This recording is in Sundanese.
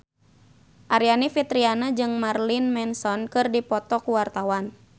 Aryani Fitriana jeung Marilyn Manson keur dipoto ku wartawan